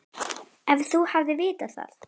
Að þú hafir vitað það.